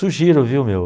Sugiro, viu, meu?